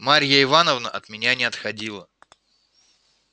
марья ивановна от меня не отходила